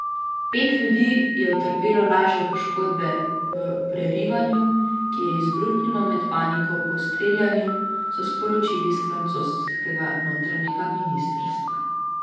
Pet ljudi je utrpelo lažje poškodbe v prerivanju, ki je izbruhnilo med paniko po streljanju, so sporočili s francoskega notranjega ministrstva.